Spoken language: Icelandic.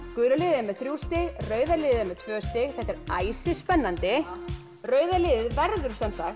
gula liðið er með þrjú stig rauða liðið með tvö stig þetta er æsispennandi rauða liðið verður